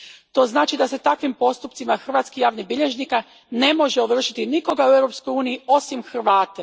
To znači da se takvim postupcima hrvatskih javnih bilježnika ne može ovršiti nikoga u Europskoj uniji, osim Hrvate.